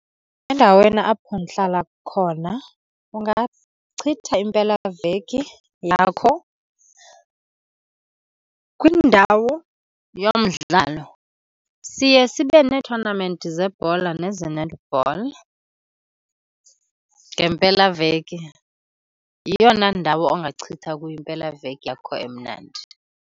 Endaweni apho ndihlala khona ungachitha impelaveki yakho kwindawo yomdlalo. Siye sibe neethonamenti zebhola neze-netball ngempelaveki. Yeyona ndawo ongachitha kuyo impelaveki yakho emnandi.